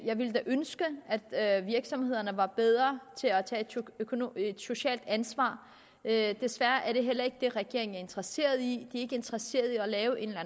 jeg ville da ønske at virksomhederne var bedre til at tage et socialt ansvar desværre er det heller ikke det regeringen er interesseret i den ikke interesseret i at lave en eller